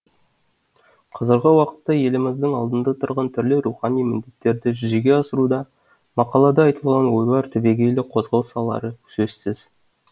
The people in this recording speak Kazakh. қазіргі уақытта еліміздің алдында тұрған түрлі рухани міндеттерді жүзеге асыруда мақалада айтылған ойлар түбегейлі қозғау салары сөзсіз